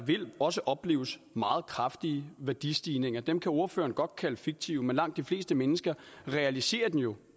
også opleves meget kraftige værdistigninger dem kan ordføreren godt kalde fiktive men langt de fleste mennesker realiserer dem jo